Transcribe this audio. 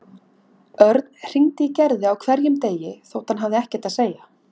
Örn hringdi í Gerði á hverjum degi þótt hann hafði ekkert að segja.